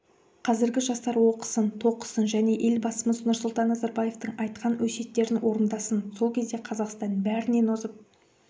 қазіргі жастар оқысын тоқысын және елбасымыз нұрсұлтан назарбаевтың айтқан өсиеттерін орындасцын сол кезде қазақстан бәрінен озып